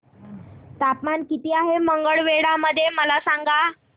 तापमान किती आहे मंगळवेढा मध्ये मला सांगा